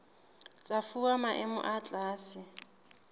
tsa fuwa maemo a tlase